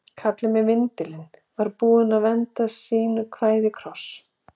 Kallinn með vindilinn var búinn að venda sínu kvæði í kross.